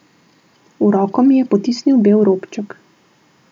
V roko mi je potisnil bel robček.